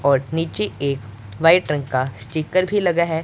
और नीचे एक वाइट रंग का स्टीकर भी लगा है।